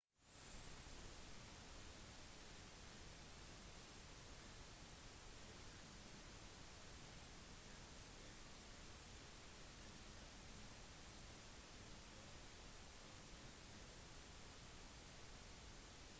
du er nok allerede kjent med å kjøre bilen din og kjenner dens begrensninger i motsetning til større kjøretøy